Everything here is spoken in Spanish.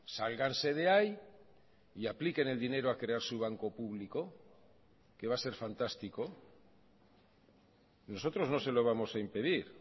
sálganse de ahí y apliquen el dinero a crear su banco público que va a ser fantástico nosotros no se lo vamos a impedir